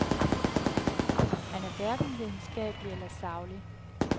Han er hverken videnskabelig eller saglig.